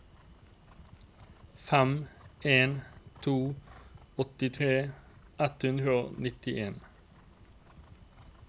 fem en to to åttitre ett hundre og nittien